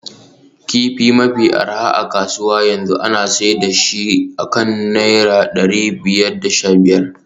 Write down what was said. Kifi mafi arha a kasuwa yanzu ana sayar da shi akan naira dari biyar da sha biyar